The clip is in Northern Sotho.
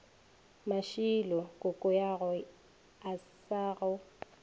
mashilo kokoago a sa go